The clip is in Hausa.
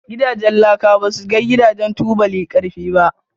Gidajen laka basu kai Gidajen tubuli karfi ba.